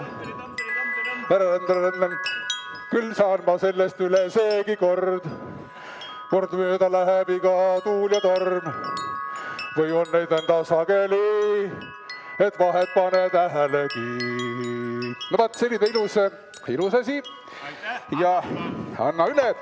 Annan üle!